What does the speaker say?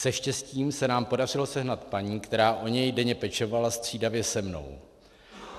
Se štěstím se nám podařilo sehnat paní, která o něj denně pečovala střídavě se mnou.